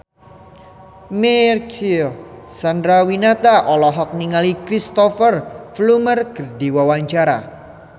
Marcel Chandrawinata olohok ningali Cristhoper Plumer keur diwawancara